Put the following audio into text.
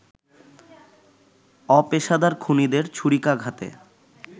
অপেশাদার খুনিদের ছুরিকাঘাতে